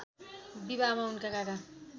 विवाहमा उनका काका